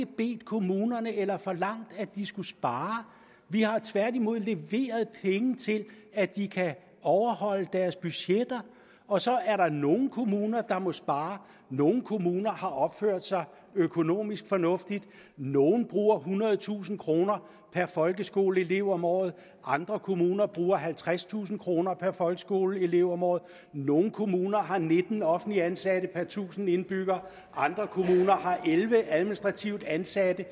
bedt kommunerne eller forlangt at de skulle spare vi har tværtimod leveret penge til at de kan overholde deres budgetter og så er der nogle kommuner der må spare nogle kommuner har opført sig økonomisk fornuftigt nogle bruger ethundredetusind kroner per folkeskoleelev om året og andre kommuner bruger halvtredstusind kroner per folkeskoleelev om året nogle kommuner har nitten offentligt ansatte per tusind indbyggere andre kommuner har elleve administrativt ansatte